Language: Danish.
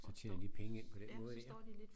Så tjener de penge ind på den måde dér